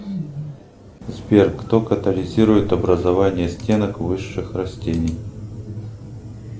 сбер кто катализирует образование стенок высших растений